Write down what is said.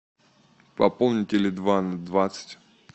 пополни теле два на двадцать